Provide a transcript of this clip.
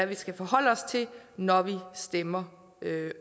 vi skal forholde os til når vi stemmer